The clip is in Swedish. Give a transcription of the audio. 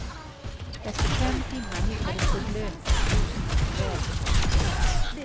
Efter fem timmar hittades de, blöta och frusna men välbehållna.